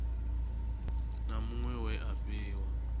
na muṅwe we a fhiwa